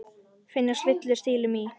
Finnast villur stílum í.